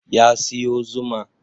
Ya siyo zuma